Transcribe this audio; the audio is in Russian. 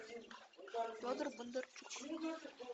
федор бондарчук